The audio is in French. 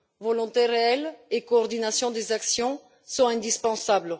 Volonté réelle et coordination des actions sont indispensables.